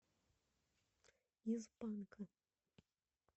из панка